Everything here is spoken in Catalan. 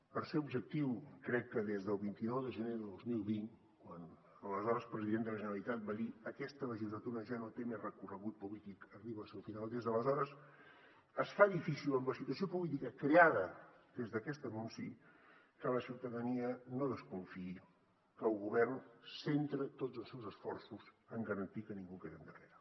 per ser objectiu crec que des del vint nou de gener de dos mil vint quan l’aleshores president de la generalitat va dir aquesta legislatura ja no té més recorregut polític arriba al seu final des d’aleshores es fa difícil amb la situació política creada des d’aquest anunci que la ciutadania no desconfiï que el govern centra tots els seus esforços en garantir que ningú quedi endarrere